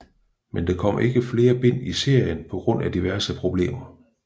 Men der kom ikke flere bind i serien på grund af diverse problemer